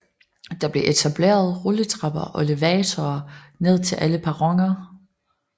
Der blev etableret rulletrapper og elevatorer ned til alle perroner